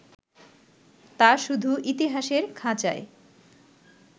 তা শুধু ইতিহাসের খাঁচায়